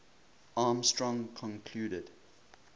armstrong concluded